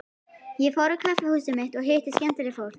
Ég fór á kaffihúsið mitt og hitti skemmtilegt fólk.